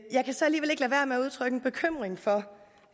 udtrykke en bekymring for